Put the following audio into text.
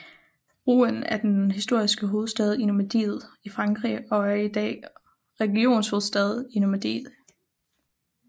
Rouen er den historiske hovedstad i Normandiet i Frankrig og er i dag regionshovedstad i Normandie